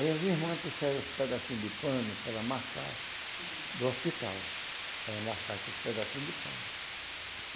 Aí as irmãs trouxeram os pedacinhos de pano para ela marcar do hospital, para ela marcar aqueles pedacinhos de pano.